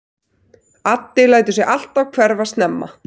Addi lætur sig alltaf hverfa snemma.